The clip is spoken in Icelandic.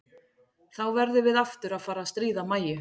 Þá verðum við aftur að fara að stríða Mæju.